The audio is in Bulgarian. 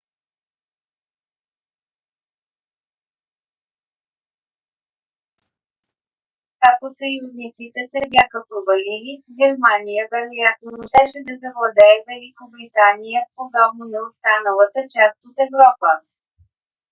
ако съюзниците се бяха провалили германия вероятно щеше да завладее великобритания подобно на останалата част от европа